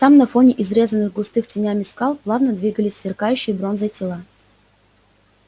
там на фоне изрезанных густыми тенями скал плавно двигались сверкающие бронзой тела